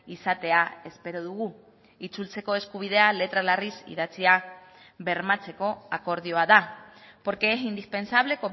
izatea espero dugu itzultzeko eskubidea letra larriz idatzia bermatzeko akordioa da porque es indispensable